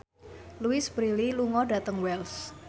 Louise Brealey lunga dhateng Wells